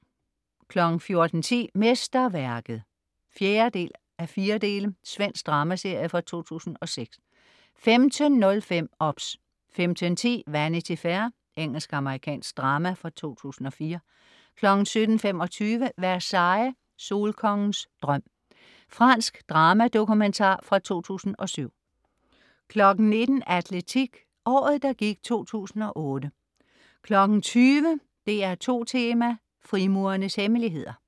14.10 Mesterværket (4:4). Svensk dramaserie fra 2006 15.05 OBS 15.10 Vanity Fair. Engelsk-amerikansk drama fra 2004 17.25 Versailles. Solkongens drøm. Fransk dramadokumentar fra 2007 19.00 Atletik: Året, der gik 2008 20.00 DR2 Tema: Frimurernes hemmeligheder